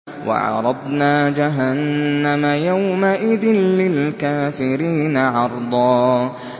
وَعَرَضْنَا جَهَنَّمَ يَوْمَئِذٍ لِّلْكَافِرِينَ عَرْضًا